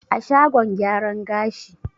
A shagon gyaran gashi.